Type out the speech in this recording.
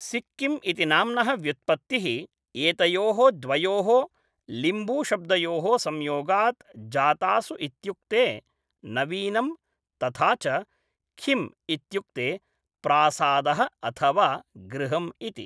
सिक्किम् इति नाम्नः व्युत्पत्तिः एतयोः द्वयोः लिम्बूशब्दयोः संयोगात् जातासु इत्युक्ते नवीनं तथा च ख्यिम् इत्युक्ते प्रासादः अथवा गृहम् इति।